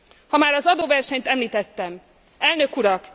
Ha már az adóversenyt említettem Elnök Urak!